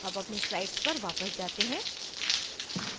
अब अपनी slides पर वापस जाते हैं